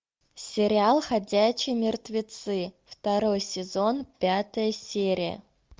сериал ходячие мертвецы второй сезон пятая серия